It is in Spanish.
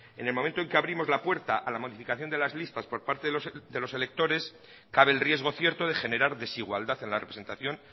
en el momento en que abrimos la puerta a la modificación de las listas por parte de los electores cabe el riesgo cierto de generar desigualdad en la representación